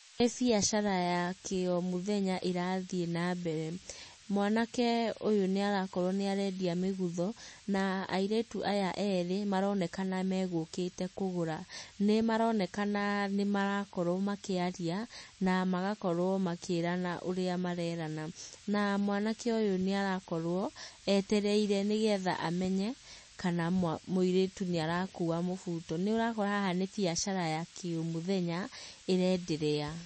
Nĩ biacara ya kĩ o mũthenya ĩrathiĩ na mbere, mwanake ũyũ nĩarakorwo nĩarendia mĩgutho. Na airĩtu aya erĩ nĩmaronekana megũkĩte kũgũra. Nĩmaronekana nĩmarakorwo makĩaria na magakorwo makĩrana ũrĩa marerana, na mwanake ũyũ nĩarakorwo etereire nĩgetha amenye kana mũirĩtu nĩarakua mũbuto. Nĩ ũrakora haha nĩ biacara ya kĩ omũthenya ĩraenderea.